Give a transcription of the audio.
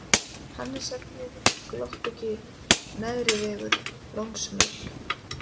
Hannesargljúfur, Gloppugil, Neðrivegur, Lónsmöl